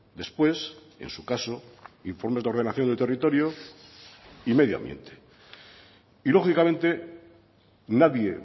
después en su caso informes de ordenación del territorio y medio ambiente y lógicamente nadie